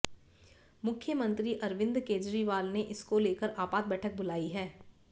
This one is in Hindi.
मुख्यमंत्री अरविन्द केजरीवाल ने इसको लेकर आपात बैठक बुलाई है